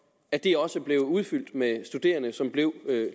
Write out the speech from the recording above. at de også blev udfyldt med studerende som blev